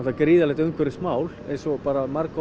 gríðarlegt umhverfismál eins og